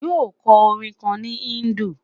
Yóò kọ orin kan ni Hindu